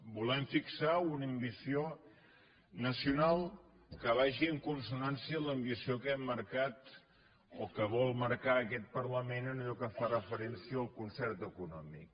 volem fixar una ambició nacional que vagi en consonància amb l’ambició que hem marcat o que vol marcar aquest parlament en allò que fa refe·rència al concert econòmic